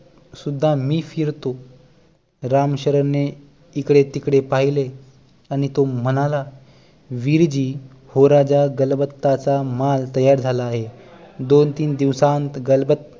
मी फिरतो रामशरण ने इकडे तिकडे पहिले आणि तो म्हणाला विरजी व्होराच्या गलबताचा माल तयार झाला आहे दोनतीन दिवसात गलबत